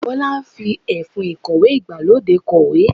Bọ́lá fi ẹfun ìkọ̀wé ìgbàlódé kọ̀wé.